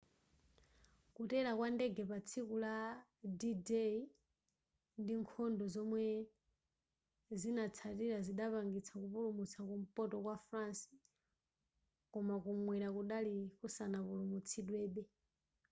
kutera kwa ndege patsiku la d-day ndi nkhondo zomwe zinatsatira zidapangitsa kupulumutsa kumpoto kwa france koma kumwera kudali kusanapulumutsidwebe